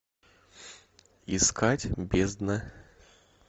искать бездна